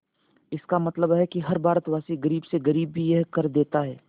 इसका मतलब है कि हर भारतवासी गरीब से गरीब भी यह कर देता है